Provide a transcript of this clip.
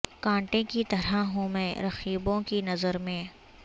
کانٹے کی طرح ہوں میں رقیبوں کی نظر میں